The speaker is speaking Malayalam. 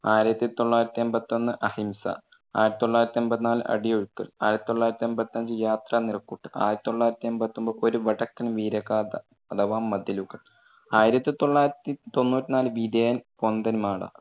ആയിരത്തി തൊള്ളായിരത്തി എൺപത്തൊന്ന്, അഹിംസ, ആയിരത്തി തൊള്ളായിരത്തി എൺപത്തിനാല് അടിയൊഴുക്ക്, ആയിരത്തി തൊള്ളായിരത്തി എൺപത്തഞ്ച് യാത്ര, നിറക്കൂട്ട്, ആയിരത്തി തൊള്ളായിരത്തി എൺപത്തൊൻപത് ഒരു വടക്കൻ വീരഗാഥ അഥവാ മതിലുകൾ, ആയിരത്തി തൊള്ളായിരത്തി തൊണ്ണൂറ്റി നാല് വിധേയൻ, പൊന്തന്മാട.